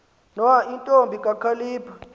nwa intombi kakhalipha